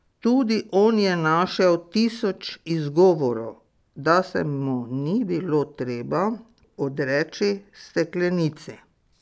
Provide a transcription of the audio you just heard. Tudi on je našel tisoč izgovorov, da se mu ni bilo treba odreči steklenici.